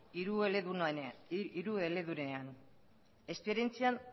hirueledunean esperientzian